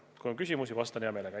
Kui on küsimusi, vastan hea meelega.